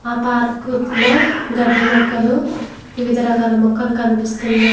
ఆ పార్కుకు లో గడ్డి మొక్కలు వివిధ రకాల మొక్కలు కనిపిస్తున్నాయి.